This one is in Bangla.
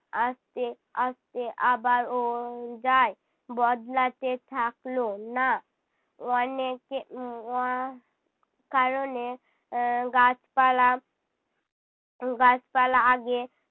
আস্তে আস্তে আবারও যায়, বদলাতে থাকলো না অনেকে উহ ওয়া~ কারণে এর গাছপালা গাছপালা আগে